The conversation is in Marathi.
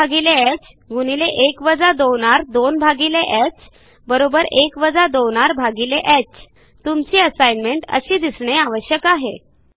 1 2r1ह1 2r2ह 1 2rह तुमची असाईनमेंट अशी दिसणे आवश्यक आहे